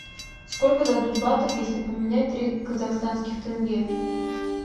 сколько дадут батов если поменять три казахстанских тенге